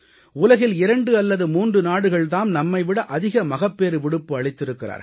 உலகில் 2 அல்லது 3 நாடுகள் தாம் நம்மை விட அதிக மகப்பேறுவிடுப்பு அளித்திருக்கிறார்கள்